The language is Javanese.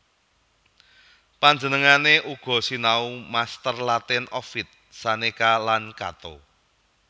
Panjenengané uga sinau master Latin Ovid Seneca lan Cato